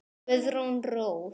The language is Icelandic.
Guðrún Rós.